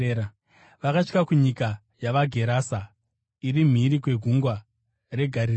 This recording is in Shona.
Vakasvika kunyika yavaGerase, iri mhiri kwegungwa reGarirea.